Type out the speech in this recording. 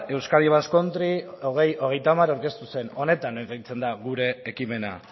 euskadi basque country bi mila hogeita hamar aurkeztu zen honetan oinarritzen da gure ekimena